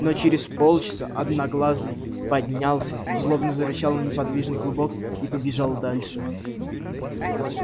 но через полчаса одноглазый поднялся злобно зарычал на неподвижный клубок и побежал дальше